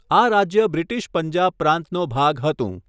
આ રાજ્ય બ્રિટિશ પંજાબ પ્રાંતનો ભાગ હતું.